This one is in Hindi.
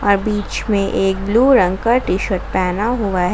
बीच में एक ब्लू रंग का टी शर्ट पहना हुआ है।